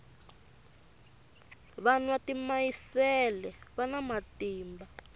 va nwa timayisele vana matimba